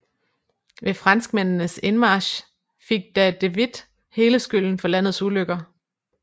Ved franskmændenes indmarch fik da de Witt hele skylden for landets ulykker